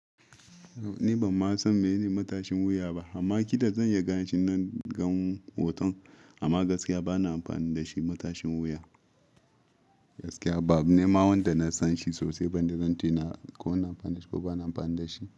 Ni banma san menene matashin wuya ba amma kila zan iyi ganeshi in na gan hoton amma gaskiya bana amfani da shi matashin wuya. Gaskiya ba abu ne ma wanda na san shi sosai ba da zan tuna ko ina amfani da shi ko bana amfani da shi.